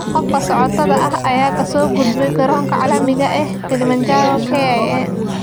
Qofka socotada ah ayaa ka soo gudbay garoonka caalamiga ah ee Kilimanjaro (KIA).